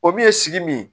O dun ye sigi min ye